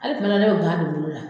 Hali fɛnɛ ne bɛ ba don bolo la